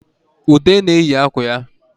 Ude na-eyi mgbanaka ya